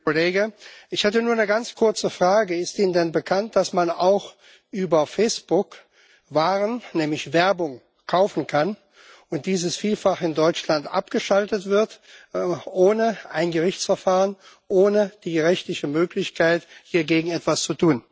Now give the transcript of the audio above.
Herr Kollege! Ich hätte nur eine ganz kurze Frage Ist Ihnen denn bekannt, dass man auch über Facebook Waren, nämlich Werbung, kaufen kann und dies in Deutschland vielfach abgeschaltet wird, ohne ein Gerichtsverfahren, ohne die rechtliche Möglichkeit, hiergegen etwas zu tun?